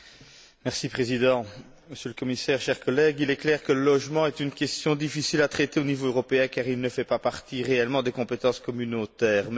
Monsieur le Président, Monsieur le Commissaire, chers collègues, il est clair que le logement est une question difficile à traiter au niveau européen car il ne fait pas réellement partie des compétences communautaires.